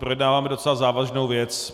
Projednáváme docela závažnou věc.